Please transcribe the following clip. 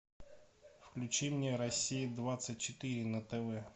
включи мне россия двадцать четыре на тв